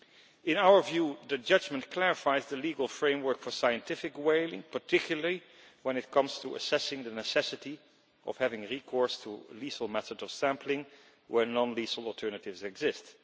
In our view the judgment clarifies the legal framework for scientific whaling, particularly when it comes to assessing the necessity of having recourse to lethal methods of sampling where non lethal alternatives exist.